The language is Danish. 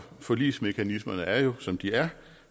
forligsmekanismerne er jo som de er